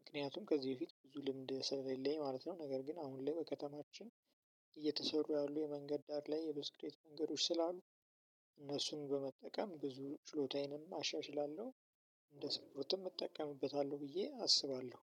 ምክንያቱም ከዚህ በፊት ብዙ ልምድ ስለሌለኝ ማለት ነው። ነገር ግን አሁን ላይ በከተማችን እየተሰሩ ያሉ የመንገድ ዳር ላይ የብስክሬት መንገዶች ስላሉ እነሱን በመጠቀም ብዙ ችሎታየንም አሻሽላለሁ። እንደ ስፍሩትም እጠቀምበታለሁ ብዬ አስባለሁ